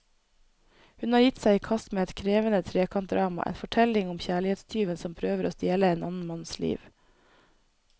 Hun har gitt seg i kast med et krevende trekantdrama, en fortelling om kjærlighetstyven som prøver å stjele en annen manns liv.